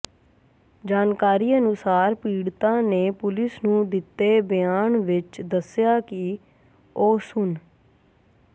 ਜਾਣਕਾਰੀ ਅਨੁਸਾਰ ਪੀੜਤਾ ਨੇ ਪੁਲਿਸ ਨੂੰ ਦਿੱਤੇ ਬਿਆਨ ਵਿਚ ਦੱਸਿਆ ਕਿ ਉਹ ਸੁਨ